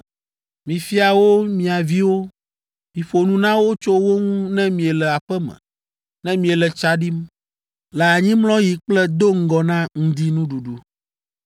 Mifia wo mia viwo; miƒo nu na wo tso wo ŋu ne miele aƒe me, ne miele tsa ɖim, le anyimlɔɣi kple do ŋgɔ na ŋdinuɖuɖu!